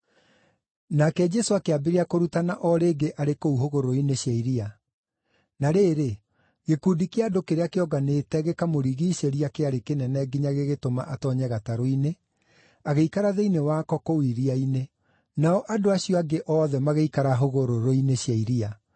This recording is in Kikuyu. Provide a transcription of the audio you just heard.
Nake Jesũ akĩambĩrĩria kũrutana o rĩngĩ arĩ kũu hũgũrũrũ-inĩ cia iria. Na rĩrĩ, gĩkundi kĩa andũ kĩrĩa kĩonganĩte gĩkamũrigiicĩria kĩarĩ kĩnene nginya gĩgĩtũma atoonye gatarũ-inĩ, agĩikara thĩinĩ wako kũu iria-inĩ; nao andũ acio angĩ othe magĩikara hũgũrũrũ-inĩ cia iria.